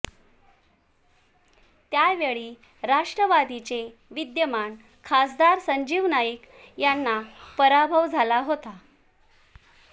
त्यावेळी राष्ट्रवादीचे विद्यमान खासदार संजीव नाईक यांना पराभव झाला हेाता